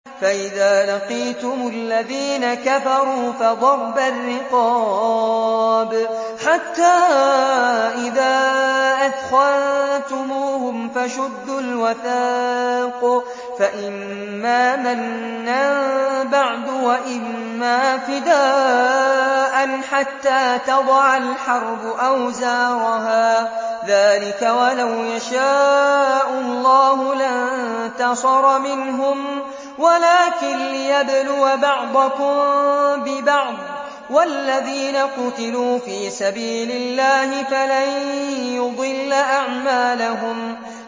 فَإِذَا لَقِيتُمُ الَّذِينَ كَفَرُوا فَضَرْبَ الرِّقَابِ حَتَّىٰ إِذَا أَثْخَنتُمُوهُمْ فَشُدُّوا الْوَثَاقَ فَإِمَّا مَنًّا بَعْدُ وَإِمَّا فِدَاءً حَتَّىٰ تَضَعَ الْحَرْبُ أَوْزَارَهَا ۚ ذَٰلِكَ وَلَوْ يَشَاءُ اللَّهُ لَانتَصَرَ مِنْهُمْ وَلَٰكِن لِّيَبْلُوَ بَعْضَكُم بِبَعْضٍ ۗ وَالَّذِينَ قُتِلُوا فِي سَبِيلِ اللَّهِ فَلَن يُضِلَّ أَعْمَالَهُمْ